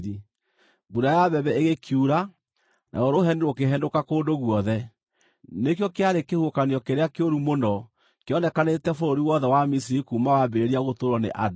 mbura ya mbembe ĩgĩkiura, naruo rũheni rũkĩhenũka kũndũ guothe. Nĩkĩo kĩarĩ kĩhuhũkanio kĩrĩa kĩũru mũno kĩonekanĩte bũrũri wothe wa Misiri kuuma wambĩrĩria gũtũũrwo nĩ andũ.